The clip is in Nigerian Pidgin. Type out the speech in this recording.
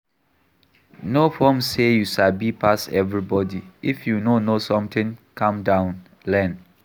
No form sey you sabi pass everybody, if you no know something, calm down learn